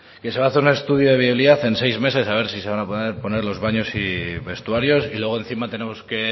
que se va a hacer un estudio de viabilidad en seis meses a ver si van a poder poner los baños y vestuarios y luego encima tenemos que